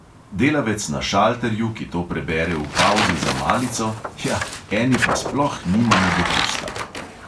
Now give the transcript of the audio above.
Delavec na šalterju, ki to prebere v pavzi za malico – hja, eni pa sploh nimamo dopusta.